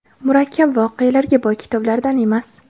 murakkab voqealar ga boy kitoblardan emas.